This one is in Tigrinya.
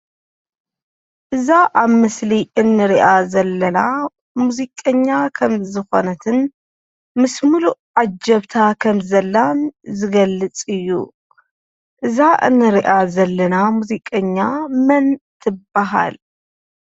እዛ ኣብ ምስሊ እንሪኣ ዘለና ሙዚቀኛ ከም ዝኾነትን ምስ ሙሉእ ዓጀብታ ከምዘላን ዝገልፅ እዩ፡፡ እዛ እንሪኣ ዘለና ሙዚቀኛ መን ትባሃል?